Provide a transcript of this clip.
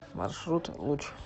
маршрут луч